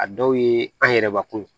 A dɔw ye an yɛrɛbakun